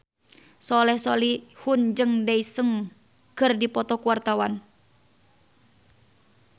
Soleh Solihun jeung Daesung keur dipoto ku wartawan